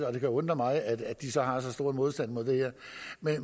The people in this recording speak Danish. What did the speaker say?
og det kan undre mig at de så har så stor modstand imod det her